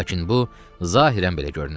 Lakin bu zahirən belə görünürdü.